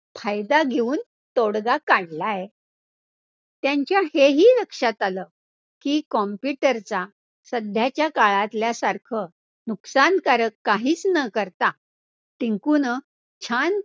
फायदा घेऊन तोडगा काढलाय. त्यांच्या हे ही लक्षात आलं की computer चा सध्याच्या काळातल्या सारखं नुकसानकारक काहीच न करता टिंकुनं छान